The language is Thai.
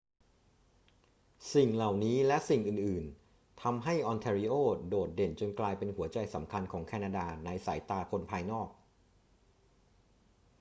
สิ่งเหล่านี้และสิ่งอื่น ๆ ทำให้ออนแทรีโอโดดเด่นจนกลายเป็นหัวใจสำคัญของแคนาดาในสายตาคนภายนอก